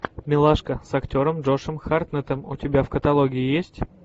милашка с актером джошем хартнеттом у тебя в каталоге есть